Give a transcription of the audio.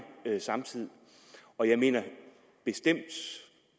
samtid og jeg mener bestemt